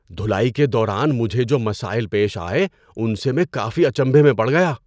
دھلائی کے دوران مجھے جو مسائل پیش آئے ان سے میں کافی اچنبھے میں پڑ گیا۔